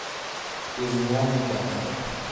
безымянный гангстер